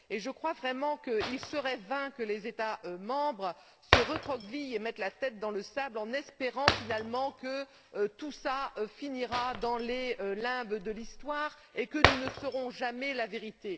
Je crois vraiment qu'il serait vain que les États membres se recroquevillent et mettent la tête dans le sable en espérant finalement que tout cela finira dans les limbes de l'histoire et que nous ne saurons jamais la vérité.